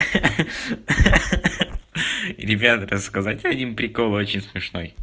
ах-ах ребят рассказать один прикол очень смешно